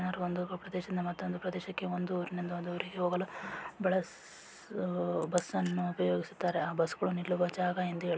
‌ ಜನರು ಒಂದು ಪ್ರದೇಶದಿಂದ ಮತ್ತೊಂದು ಪ್ರದೇಶಕ್ಕೆ ಒಂದು ಊರಿನಿಂದ ಇನ್ನೊಂದು ಊರಿಗೆ ಹೋಗಲು ಬಳ್ ಬಸ್ ಬಸ್ ಅನ್ನು ಉಪಯೋಗಿಸುತ್ತಾರೆ ಆ ಬಸ್‌ ಗಳು ನಿಲ್ಲುವ ಜಾಗ ಎಂದು ಹೇಳ --